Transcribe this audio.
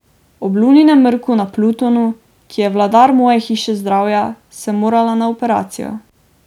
Ob Luninem mrku na Plutonu, ki je vladar moje hiše zdravja, sem morala na operacijo.